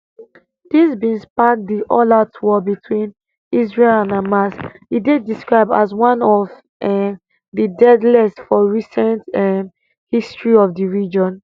dis bin spark di allout war between israel and hamas e dey described as one of um di deadliest for recent um history of di region